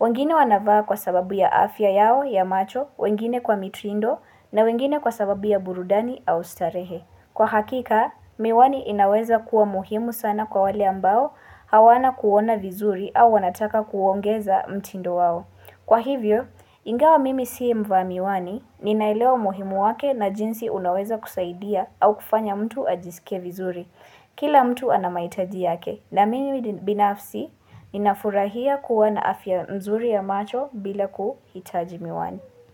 Wangine wanavaa kwa sababu ya afya yao, ya macho, wengine kwa mituindo, na wengine kwa sababu ya burudani au starehe. Kwa hakika, miwani inaweza kuwa muhimu sana kwa wale ambao hawana kuona vizuri au wanataka kuongeza mtindo wao. Kwa hivyo, ingawa mimi sii mvamiwani, ninailewa muhimu wake na jinsi unaweza kusaidia au kufanya mtu ajisike vizuri. Kila mtu anamaitaji yake. Na mimi binafsi, ninafurahia kuwana afya mzuri ya macho bila kuhitaji miwani.